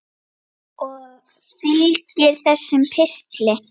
Og fylgir þessum pistli.